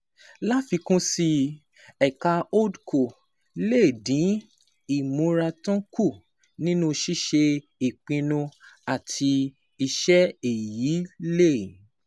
Láfikún sí i, ẹ̀ka HoldCo lè dín ìmúratán kù nínú ṣíṣe ìpinnu àti iṣẹ́, èyí lè